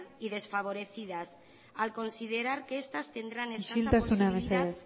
y desfavorecidas al considerar que estas tendrán isiltasuna mesedez escasa